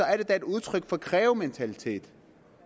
er det da et udtryk for krævementalitet